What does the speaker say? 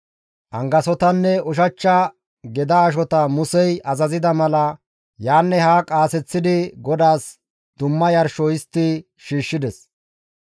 Angasotanne ushachcha geda ashota Musey azazida mala yaanne haa qaaseththidi GODAAS dumma yarsho histti shiishshides.